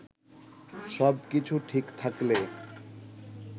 সবকিছু ঠিক থাকলে